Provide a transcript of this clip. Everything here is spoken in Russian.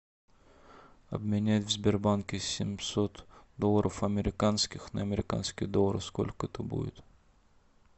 обменять в сбербанке семьсот долларов американских на американский доллар сколько это будет